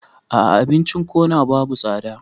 A'a abincin corner babu tsada